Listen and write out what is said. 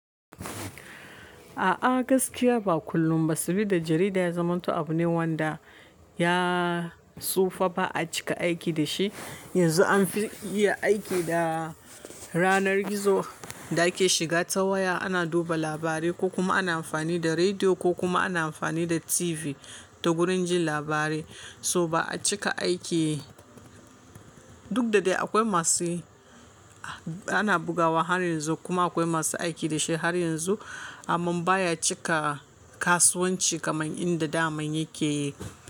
A'a gaskiya ba kullum ba sabida jarida ya zamanto abu ne wanda ya tsufa ba a cika aiki da shi. Yanzu an fi iya aiki da ranar gizo da ke shiga ta waya, ana duba labarai ko kuma ana amfani da rediyo ko kuma ana amfani da TV, ta wurin jin labarai. Toh ba a cika aiki, duk da dai akwai masu yi, ana bugawa har yanzu kuma akwai masu aiki da shi har yanzu. Amman baya cika kasuwanci kamar inda da man yake.